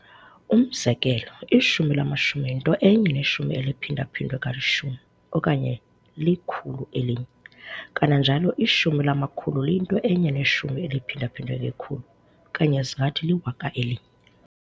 Umzekelo, ishumi lamashumi yinto enye neshumi eliphinda-phindwe kalishumi, okanye likhulu elinye. Kananjalo, ishumi lamakhulu liyinto enye neshumi eliphinda-phindwe ngekhulu, okanye singathi liwaka elinye.